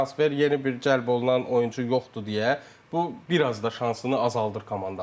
Transfer yeni bir cəlb olunan oyunçu yoxdur deyə, bu bir az da şansını azaldır komandanın.